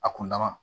A kun laban